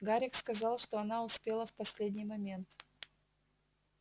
гарик сказал что она успела в последний момент